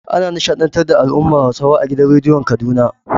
Ana nishaɗntar da al'ummar Hausawa a gidan radiyon Kaduna.